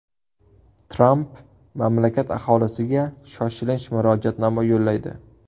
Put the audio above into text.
Tramp mamlakat aholisiga shoshilinch murojaatnoma yo‘llaydi.